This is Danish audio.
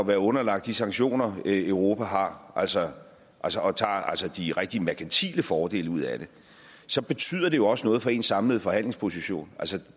være underlagt de sanktioner europa har og altså altså tager de rigtig merkantile fordele ud af det så betyder det jo også noget for ens samlede forhandlingsposition